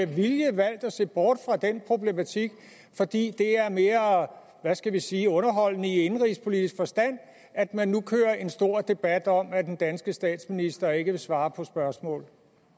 vilje har valgt at se bort fra den problematik fordi det er mere hvad skal jeg sige underholdende i indenrigspolitisk forstand at man nu kører en stor debat om at den danske statsminister ikke vil svare på spørgsmål